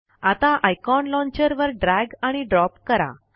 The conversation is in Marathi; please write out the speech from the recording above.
आता आयकॉन लॉन्चर वर ड्रैग आणि ड्रॉप करा